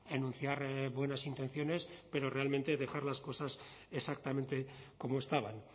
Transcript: enunciar buenas intenciones pero realmente dejar las cosas exactamente como estaban